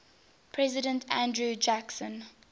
president andrew jackson